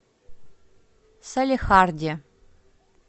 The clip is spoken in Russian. салехарде